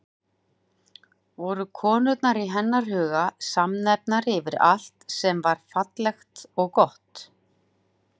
Voru konur í hennar huga samnefnari yfir allt sem var fallegt og gott?